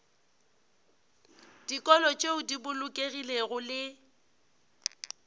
dikolo tšeo di bolokegilego le